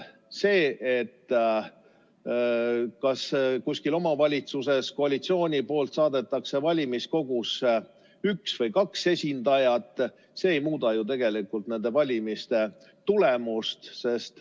See, kas kuskil omavalitsuses koalitsioon saadab valimiskogusse üks või kaks esindajat, ei muuda ju tegelikult nende valimiste tulemust.